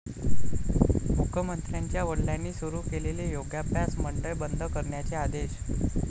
मुख्यमंत्र्यांच्या वडिलांनी सुरू केलेले योगाभ्यास मंडळ बंद करण्याचे आदेश